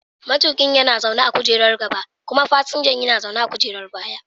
Matuƙi yana zaune a kujerar gaba kuma fasinja yana zaune a kujerar baya.